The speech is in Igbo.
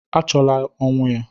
Achọla ọnwụ ya!